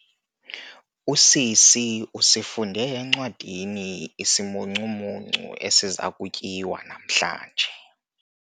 Usisi usifunde encwadini isimuncumuncu esiza kutyiwa namhlanje.